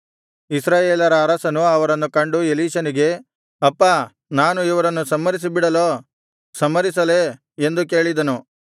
ಇಸ್ರಾಯೇಲರ ಅರಸನು ಅವರನ್ನು ಕಂಡು ಎಲೀಷನಿಗೆ ಅಪ್ಪಾ ನಾನು ಇವರನ್ನು ಸಂಹರಿಸಿ ಬಿಡಲೋ ಸಂಹರಿಸಲೇ ಎಂದು ಕೇಳಿದನು